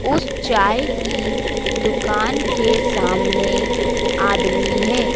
उस चाय की दुकान के सामने आदमी हैं।